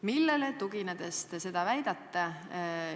Millele tuginedes te seda väidate?